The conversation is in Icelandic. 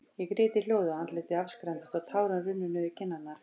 Ég grét í hljóði, og andlitið afskræmdist, og tárin runnu niður kinnarnar.